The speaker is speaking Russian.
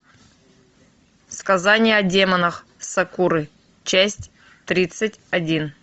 сказание о демонах сакуры часть тридцать один